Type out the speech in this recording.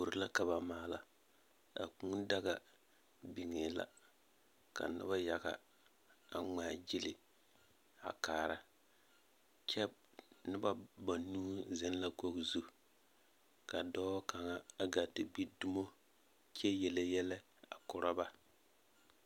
Kuori la ka maala. A kũũ daga biŋee la, ka noba yaga a ŋmaa gyili a kaara kyɛ noba banuu zeŋ la kogi zu, ka dɔɔ kaŋa a gaa te gbi dumo kyɛ yele yɛlɛ a kora ba.